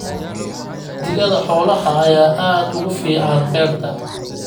Digada xoolaha ayaa aad ugu fiican beerta